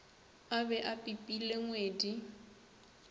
a be a pipile ngwedi